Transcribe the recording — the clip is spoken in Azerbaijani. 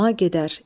Səlma gedər.